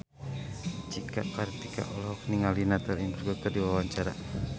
Cika Kartika olohok ningali Natalie Imbruglia keur diwawancara